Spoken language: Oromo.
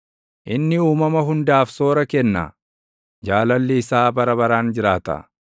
inni uumama hundaaf soora kenna; Jaalalli isaa bara baraan jiraata.